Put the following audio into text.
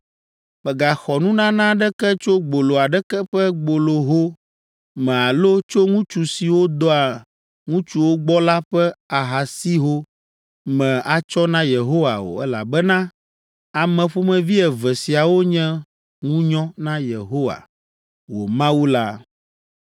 Mègaxɔ nunana aɖeke tso gbolo aɖeke ƒe gboloho me alo tso ŋutsu siwo dɔa ŋutsuwo gbɔ la ƒe ahasiho me atsɔ na Yehowa o, elabena ame ƒomevi eve siawo nye ŋunyɔ na Yehowa, wò Mawu la.